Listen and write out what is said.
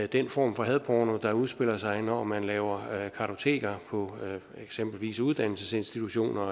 den form for hadporno der udspiller sig når man laver kartoteker på eksempelvis uddannelsesinstitutioner og